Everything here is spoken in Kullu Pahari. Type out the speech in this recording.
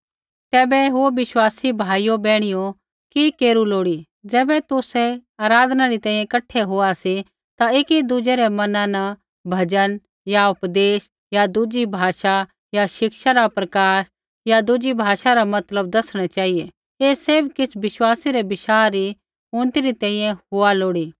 तैबै हे विश्वासी भाइयो बैहणियो कि केरू लोड़ी ज़ैबै तुसै आराधना री तैंईंयैं कठै होआ सी ता ऐकी दुज़ै रै मना न भजन या उपदेश या दुज़ी भाषा या शिक्षा रा प्रकाश या दुज़ी भाषा रा मतलब दसणै चेहिऐ ऐ सैभ किछ़ विश्वासी रै बशाह री उन्नति री तैंईंयैं हुआ लोड़ी